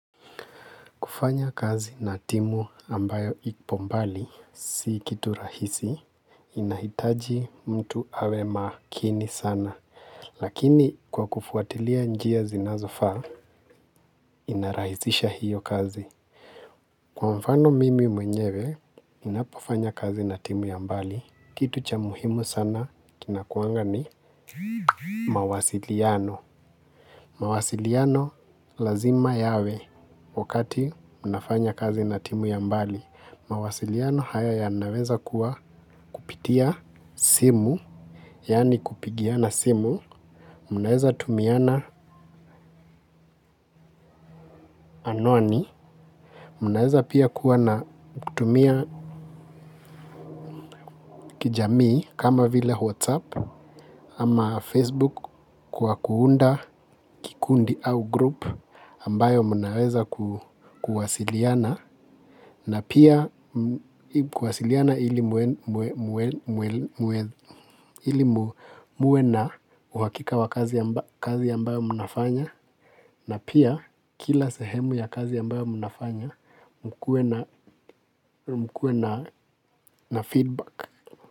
Kufanya kazi na timu ambayo ipo mbali, si kitu rahisi, inahitaji mtu awe makini sana. Lakini kwa kufuatilia njia zinazofaa, inarahisisha hiyo kazi. Kwa mfano mimi mwenyewe, ninapofanya kazi na timu ya mbali, kitu cha muhimu sana kinakuanga ni mawasiliano. Mawasiliano lazima yawe wakati unafanya kazi na timu ya mbali. Mawasiliano haya yanaweza kuwa kupitia simu. Yani kupigiana simu. Mnaweza tumiana anwani. Mnaweza pia kuwa na kutumia kijamii kama vile whatsapp ama facebook kwa kuunda kundi au group ambayo mnaweza kuwasiliana. Na pia kuwasiliana ili ili muwe na uhakika wa kazi ambayo mnafanya na pia kila sehemu ya kazi ambayo mnafanya mkuwe na feedback.